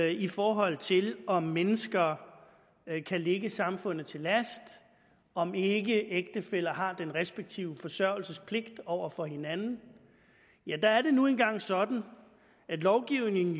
i forhold til om mennesker kan ligge samfundet til last om ikke ægtefæller har den respektive forsørgelsespligt over for hinanden der er det nu engang sådan at lovgivningen